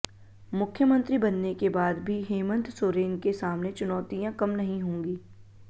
मुख्यमंत्री बनने के बाद भी हेमंत सोरेन के सामने चुनौतियां कम नहीं होंगी